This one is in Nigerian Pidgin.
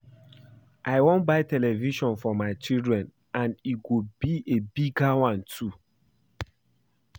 I wan buy new television for my children and e go be a bigger one too